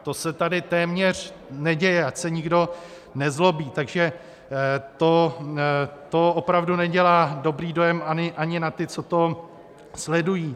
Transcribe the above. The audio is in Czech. To se tady téměř neděje, ať se nikdo nezlobí, takže to opravdu nedělá dobrý dojem ani na ty, co to sledují.